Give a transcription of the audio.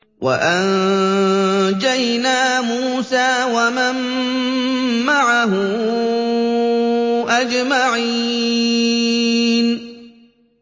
وَأَنجَيْنَا مُوسَىٰ وَمَن مَّعَهُ أَجْمَعِينَ